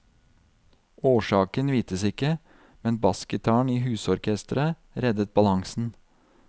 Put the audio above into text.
Årsaken vites ikke, men bassgitaren i husorkestret reddet balansen.